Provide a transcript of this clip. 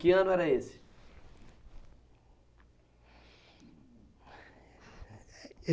Que ano era esse?